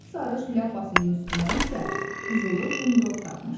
Sapsarış ləpəsinin üstünə isə qızılı zınqrov taxmışdı.